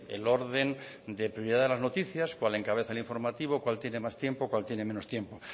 el orden de prioridad de las noticias cuál encabeza el informativo cuál tiene más tiempo cuál tiene menos tiempo